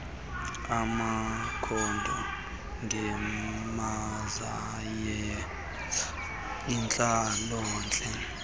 amakhondo ngezamayeza intlalontle